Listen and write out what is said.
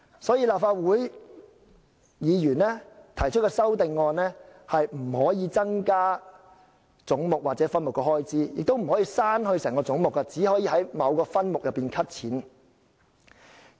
所以，立法會議員提出的修正案既不能增加總目或分目的開支，亦不能刪去整個總目，只能提出在某分目中削減開支。